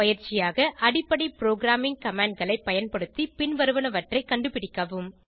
பயிற்சியாக அடிப்படை programming command களை பயன்படுத்தி பின்வருவனவற்றை கண்டுபிடிக்கவும்